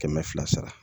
Kɛmɛ fila sara sara